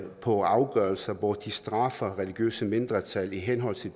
på afgørelser hvor de straffer religiøse mindretal i henhold til